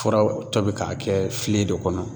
Furaw tobi k'a kɛ filen de kɔnɔ